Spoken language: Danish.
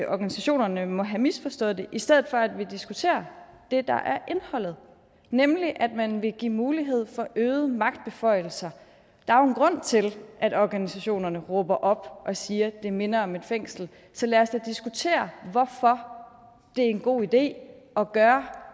organisationerne må have misforstået det i stedet for at vi diskuterer det der er indholdet nemlig at man vil give mulighed for øgede magtbeføjelser der er jo en grund til at organisationerne råber op og siger at det minder om et fængsel så lad os da diskutere hvorfor det er en god idé at gøre